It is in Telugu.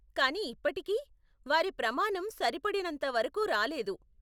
కానీ ఇప్పటికీ, వారి ప్రమాణం సరిపడినంత వరకు రాలేదు .